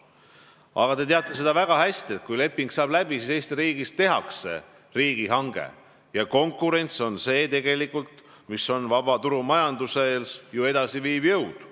Aga te teate väga hästi, et kui leping saab läbi, siis Eesti riigis tehakse riigihange ja konkurents on see, mis on vabas turumajanduses ju edasiviiv jõud.